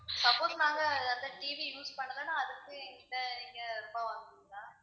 suppose நாங்க அந்த TV use பண்ணலன்னா அதுக்கு எங்க கிட்ட நீங்க ரூபா வாங்குவீங்களா?